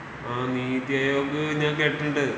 ആഹ് നീതി അയോഗ് ഞാൻ കേട്ടിട്ടുണ്ട്.